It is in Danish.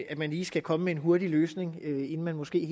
at man lige skal komme med en hurtig løsning inden man måske